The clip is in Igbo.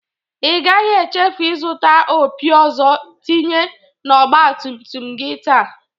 Ị gaghi echefu ịzụta opi ọzọ tinye n'ógbatumtum gi taa!